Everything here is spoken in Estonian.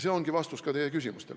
See ongi vastus teie küsimustele.